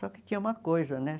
Só que tinha uma coisa, né?